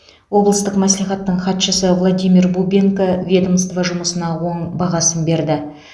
облыстық мәслихаттың хатшысы владимир бубенко ведомство жұмысына оң бағасын берді